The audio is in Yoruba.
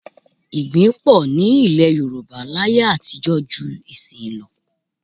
Igbí pọ̀ ní ilẹ̀ Yorùbá láyé àtijọ́ ju ìsin yìí lọ